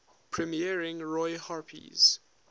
premiering roy harper's